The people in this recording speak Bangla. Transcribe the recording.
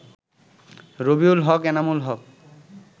রবিউল হক, এনামুল হক